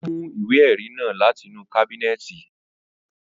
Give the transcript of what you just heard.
Ó mú ìwé ẹrí náà láti inú kábínẹ̀tì